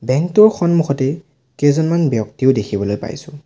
Bank টোৰ সন্মুখতেই কেইজনমান ব্যক্তিও দেখিবলৈ পাইছোঁ।